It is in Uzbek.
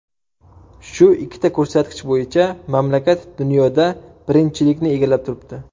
Shu ikkita ko‘rsatkich bo‘yicha mamlakat dunyoda birinchilikni egallab turibdi.